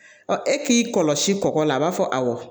e k'i kɔlɔsi kɔkɔla a b'a fɔ awɔ